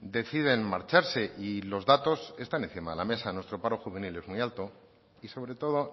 deciden marcharse y los datos están encima de la mesa nuestro paro juvenil es muy alto y sobretodo